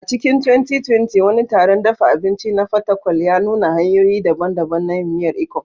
A cikin 2020, wani taron dafa abinci a Fatakwal ya nuna hanyoyi daban-daban na yin miyar Ikong.